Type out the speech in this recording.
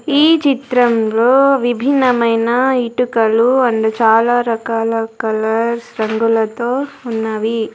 ఈ చిత్రంలో విభిన్నమైన ఇటుకలు అండ్ చాలా రకాల కలర్స్ రంగులతో ఉన్నవి.